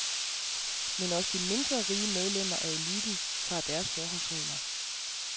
Men også de mindre rige medlemmer af eliten tager deres forholdsregler.